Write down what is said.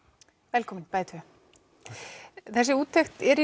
velkomin bæði tvö þessi úttekt er í